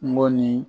N go ni